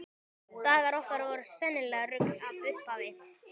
Dagar okkar voru sennilegt rugl frá upphafi.